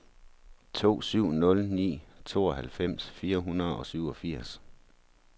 to syv nul ni tooghalvfems fire hundrede og syvogfirs